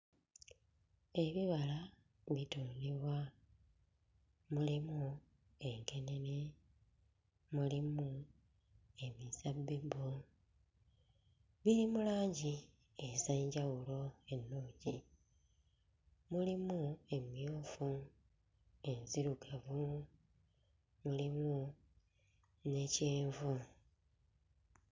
Ebibala bitundibwa mulimu enkenene, mulimu emizabbibu, biri mu langi ez'enjawulo ennungi, mulimu emmyufu enzirugavu, mulimu ne kyenvu.